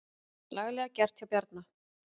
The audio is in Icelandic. Laglega gert hjá Bjarna.